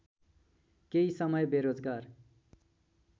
केही समय बेरोजगार